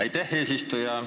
Aitäh, eesistuja!